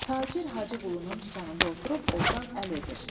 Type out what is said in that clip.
Tacir Hacı Qulunun dükanında oturub ordan əl edir.